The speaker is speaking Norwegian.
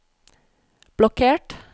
blokkert